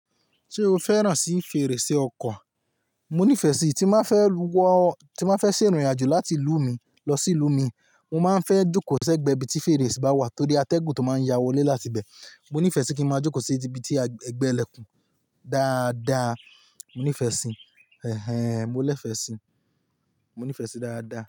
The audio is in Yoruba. Ṣé o fẹ́ràn sí fèrèsé ọkọ̀? Mo nífẹ̀ẹ́ sí i, tí n ba fẹ́ lọ tí n ba fẹ́ ṣè ìrìnàjò láti ìlú mi lọ sí ìlú mi, mo máa ń fẹ́ jókòó sẹ́gbẹ̀ẹ́ ibi tí fèrèsé bá wà torí atẹ́gùn tó máa ń ya wọlé láti ibẹ̀. Mo nífẹ̀ẹ́ sí kí n máa jókòó sí ibi tí ẹgbẹ́ ìlẹ̀kùn dáadáa. Mo nífẹ̀ẹ́ sí i. Ẹ̀hẹn. Mo lẹ́fẹ̀ẹ́ sí i. Mo nífẹ̀ẹ́ sí i dára dára.